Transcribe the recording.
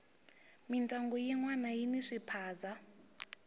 mindyangu yinwana yini swiphaza